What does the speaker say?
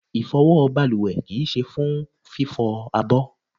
Ifowo baluwe kii se fún fifo àbọ̀